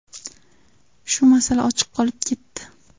Shu masala ochiq qolib ketdi.